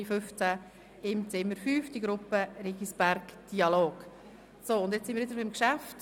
Wir befinden uns wieder beim Geschäft.